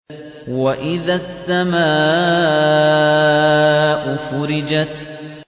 وَإِذَا السَّمَاءُ فُرِجَتْ